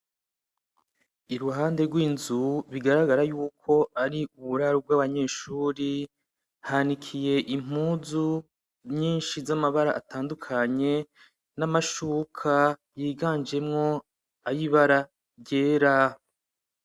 Iruhande rw'inzu bigaragara yuko ari uburaro bw'abanyeshuri hanikiye impuzu nyinshi z'amabara atandukanye n'amashuka yiganjemwo ayibara ryera.